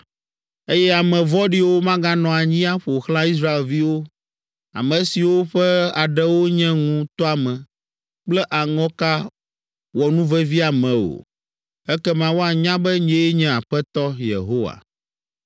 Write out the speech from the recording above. “ ‘Eye ame vɔ̃ɖiwo maganɔ anyi aƒo xlã Israelviwo, ame siwo ƒe aɖewo nye ŋu tɔame kple aŋɔka wɔnuveviame o. Ekema woanya be nyee nye Aƒetɔ Yehowa.